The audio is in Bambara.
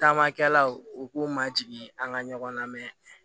Taamakɛlaw u k'u ma jigin an ka ɲɔgɔn na